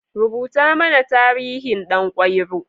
Rubuta mana tarihin Ɗan kwairo.